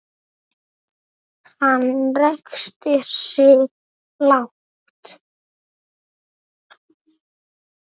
Hann ræskti sig lágt.